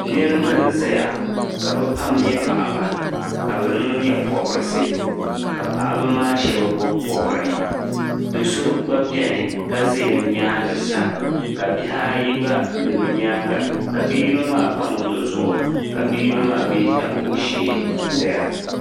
Niribi. n zɛya kabi pam. nyɛ paɣiba. ka bi niŋ nyɛ pɔbrisi. kapaɣimaa shab bɔb bɔhiri dɔsɔ gba beni kazɛ bi nyaaŋsa. kabihi ayi gba be bi nyaaŋa kabi yinɔ maa pa mɔto zuɣu ka bi yinɔ maa mi tabi o shee n zɛya.